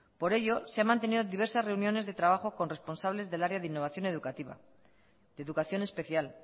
por ello se han mantenido diversas reuniones de trabajo con responsables del área de innovación educativa de educación especial